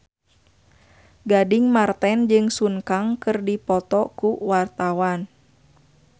Gading Marten jeung Sun Kang keur dipoto ku wartawan